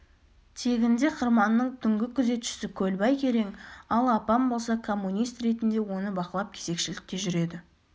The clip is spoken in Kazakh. тегінде қырманның түнгі күзетшісі көлбай керең ал апам болса коммунист ретінде оны бақылап кезекшілікте жүреді